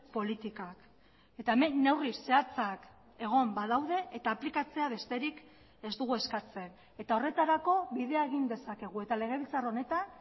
politikak eta hemen neurri zehatzak egon badaude eta aplikatzea besterik ez dugu eskatzen eta horretarako bidea egin dezakegu eta legebiltzar honetan